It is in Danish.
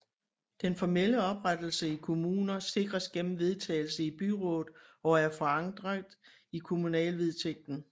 Den formelle oprettelse i kommuner sikres gennem vedtagelse i byrådet og er forankret i kommunalvedtægten